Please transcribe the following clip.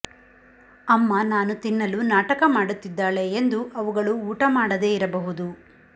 ಅಮ್ಮ ನಾನು ತಿನ್ನಲು ನಾಟಕ ಮಾಡುತ್ತಿದ್ದಾಳೆ ಎಂದು ಅವುಗಳು ಊಟ ಮಾಡದೇ ಇರಬಹುದು